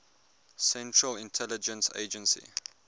central intelligence agency